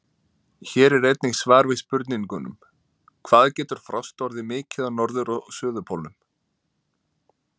Hér er einnig svar við spurningunum: Hvað getur frost orðið mikið á norður- og suðurpólnum?